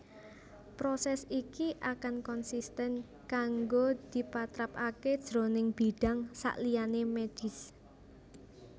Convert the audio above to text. Prosès iki akan konsisten kanggo dipatrapaké jroning bidang saliyané mèdhis